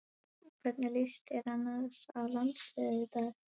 Hvernig lýst þér annars á landsliðið í dag?